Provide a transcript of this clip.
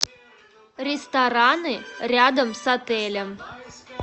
рестораны рядом с отелем